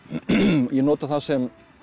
ég nota það sem